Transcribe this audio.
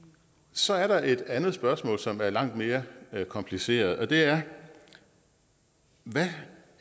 så er der et andet spørgsmål som er langt mere kompliceret og det er hvad